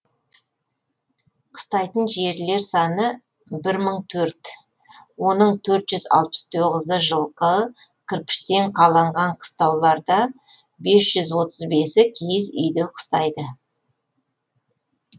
қыстайтын жерлер саны бір мың төрт оның төрт жүз алпыс тоғыз жылқы кірпіштен қаланған қыстауларда бес жүз отыз бесі киіз үйде қыстайды